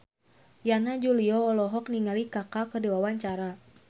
Yana Julio olohok ningali Kaka keur diwawancara